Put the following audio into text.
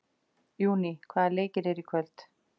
Júní, hvaða leikir eru í kvöld?